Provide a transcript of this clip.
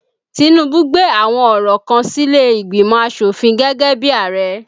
Tinubu gbé àwọn ọ̀rọ̀ kan sílé ìgbìmò asofin gẹ́gẹ́ bí Ààrẹ